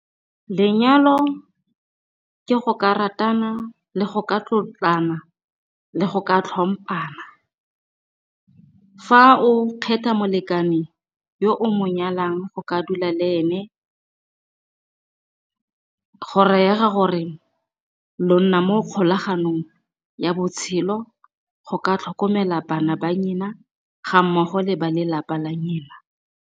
Lenyalo ke go ka ratana le go ka tlotlana, le go ka tlhompana. Fa o kgetha molekane yo o mo nyalang go ka dula le ene, go raya ga gore, lo nna mo kgolaganong ya botshelo go ka tlhokomela bana ba nyena ga mmogo le ba lelapa la nyena.